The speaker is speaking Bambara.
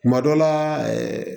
Kuma dɔ la ɛɛ